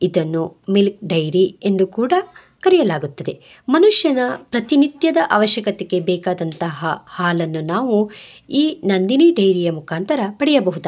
ಇದನ್ನು milk dairy ಎಂದು ಕೂಡ ಕರೆಯಲಾಗುತ್ತದೆ ಮನುಷ್ಯನ ಪ್ರತಿನಿತ್ಯದ ಅವಶ್ಯಕತೆಗೆ ಬೇಕಾದಂತಹ ಹಾಲನ್ನು ನಾವು ಈ ನಂದಿನಿ ಡೖರಿಯ ಮುಖಾಂತರ ಪಡೆಯಬಹುದಾಗಿದೆ.